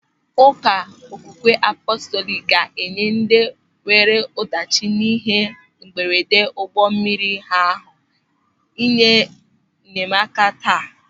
Ụka Okwukwe Apọstọliki ga-enye ndị nwere ọdachi n'ịhe mberede ụgbọ mmiri ahụ ịhe enyemaka taa.